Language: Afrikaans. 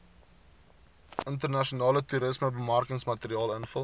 internasionale toerismebemarkingsmateriaal invul